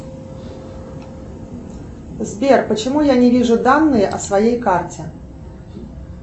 сбер почему я не вижу данные о своей карте